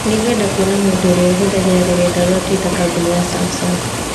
Nĩngwenda kuona mũndũ ũrĩa ũhũthagĩra rũrenda rũa tũita kambũnĩ ya Samsung.